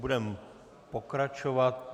Budeme pokračovat.